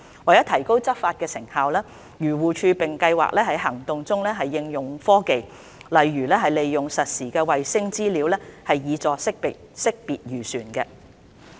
為提高執法成效，漁護署並計劃在行動中應用科技，例如利用實時衞星資料，以助識別漁船。